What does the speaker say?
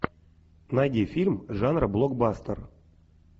найди фильм жанра блокбастер